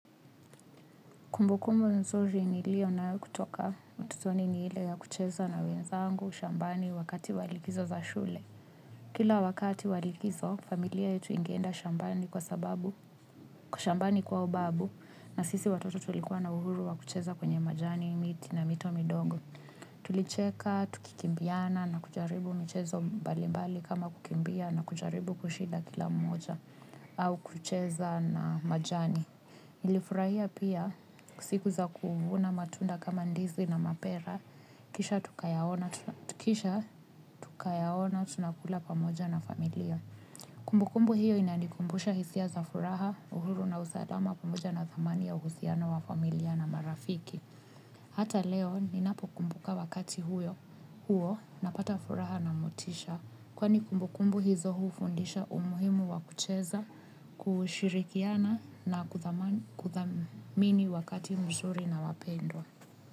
Kumbukumu nzuri niliyo na kutoka, ututoni ni ile ya kucheza na wenzangu, shambani, wakati wa likizo za shule. Kila wakati walikizo, familia yetu ingeenda shambani kwa sababu, kwa shambani kwa ubabu, na sisi watoto tulikuwa na uhuru wa kucheza kwenye majani, miti na mito midongo. Tulicheka, tukikimbiana na kujaribu mchezo mbali mbali kama kukimbia na kujaribu kushida kila mmoja, au kucheza na majani. Nilifurahia pia siku za kuvuna matunda kama ndizi na mapera kisha tukayaona tunakula pamoja na familia. Kumbukumbu hiyo inanikumbusha hisia za furaha uhuru na usalama pamoja na thamani ya uhusiano wa familia na marafiki. Hata leo ninapo kumbuka wakati huyo huo napata furaha na motisha. Kwani kumbukumbu hizo huufundisha umuhimu wakucheza kushirikiana na kuthamini wakati mzuri na wapendwa.